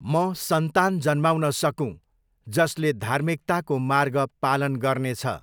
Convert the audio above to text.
म सन्तान जन्माउन सकूँ, जसले धार्मिकताको मार्ग पालन गर्नेछ!